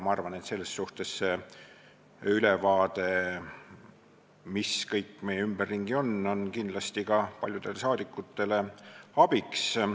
Ma arvan, et selles suhtes on see ülevaade, mis kõik meil ümberringi on, kindlasti paljudele saadikutele abiks.